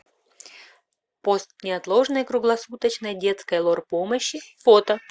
пост неотложной круглосуточной детской лор помощи фото